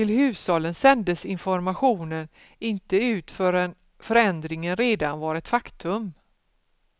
Till hushållen sändes informationen inte ut förrän förändringen redan var ett faktum.